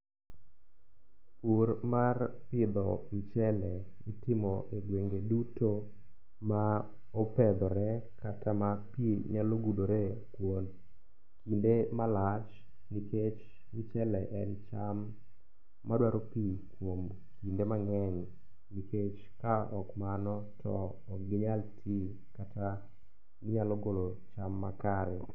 Pur mar pidho mchele itimo e gwenge duto ma opedhore kata ma pi nyalo gudore kuom kinde malach nikech mchele en cham madwaro pi kuom kinde mang'eny nikech ka ok mano to okginyal ti kata ginyalo golo cham makare.